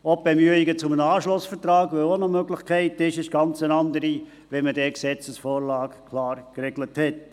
Auch die Bemühungen um einen Anschlussvertrag, der auch eine Möglichkeit wäre, wären ganz andere, wenn man dort die Gesetzesvorlage klar geregelt hat.